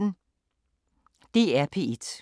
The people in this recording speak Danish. DR P1